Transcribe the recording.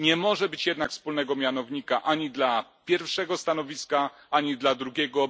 Nie może być jednak wspólnego mianownika ani dla pierwszego stanowiska, ani dla drugiego.